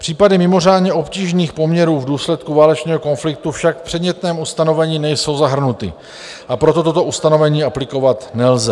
Případy mimořádně obtížných poměrů v důsledku válečného konfliktu však v předmětném ustanovení nejsou zahrnuty, a proto toto ustanovení aplikovat nelze.